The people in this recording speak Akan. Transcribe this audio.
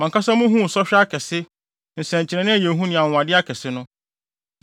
Mo ankasa muhuu sɔhwɛ akɛse, nsɛnkyerɛnne a ɛyɛ hu ne anwonwade akɛse no.